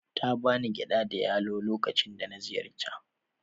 Ta ba ni gyada da yalo lokacin da na ziyarta.